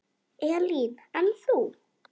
Elín: En þú?